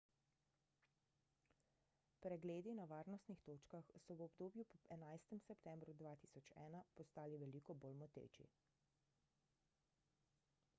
pregledi na varnostnih točkah so v obdobju po 11 septembru 2001 postali veliko bolj moteči